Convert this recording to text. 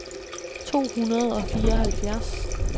to hundrede og fireoghalvfjerds